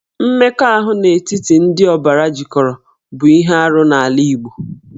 Mmekọahụ n'etiti ndị ọbara jikọrọ bụ ihe arụ n'ala Igbo